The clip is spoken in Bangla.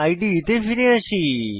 ইদে তে ফিরে আসি